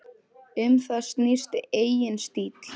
Um það snýst eigin stíll.